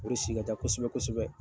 O re si ka ca kosɛbɛ kosɛbɛ .